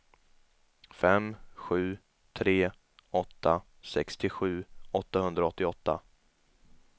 fem sju tre åtta sextiosju åttahundraåttioåtta